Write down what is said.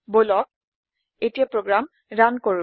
বলক এতিয়া program run কৰো